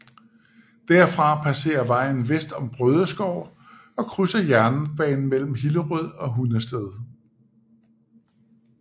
Derfra passerer vejen vest om Brødeskov og krydser jernbanen mellem Hillerød og Hundested